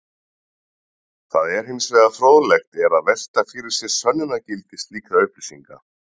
Það er hins vegar fróðlegt er að velta fyrir sér sönnunargildi slíkra upplýsinga.